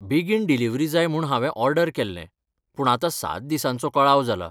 बेगीन डिलिव्हरी जाय म्हूण हांवें ऑर्डर केल्लें पूण आतां सात दिसांचो कळाव जालां.